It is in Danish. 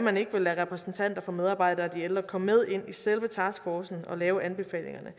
man ikke vil lade repræsentanter for medarbejdere og de ældre komme med ind i selve taskforcen og lave anbefalingerne